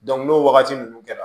n'o wagati ninnu kɛra